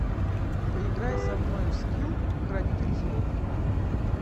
поиграй со мной в скил хранитель слов